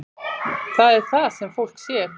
Það er það sem fólk sér.